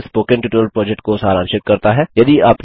जो spoken tutorial project को सारांशित करता है